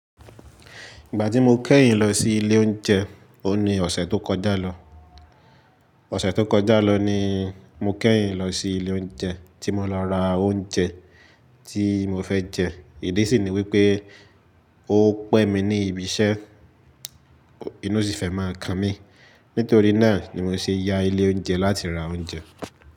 Ìgbà tí mo kẹ́yìn lọ sí ilé oúnjẹ, oun ní ọ̀sẹ̀ tó kọjá lọ. Ọ̀sẹ̀ tó kọjá lọ ni mo kẹ́yìn lọ sí ilé oúnjẹ tí mo lọ ra oúnjẹ tí mo fẹ́ jẹ. Ìdí sì ni wípé ó pẹ́ mi ní ibi iṣẹ́, inú sì fẹ́ máa kan mí. Nítorí náà ni mo ṣe ya ilé oúnjẹ láti ra oúnjẹ.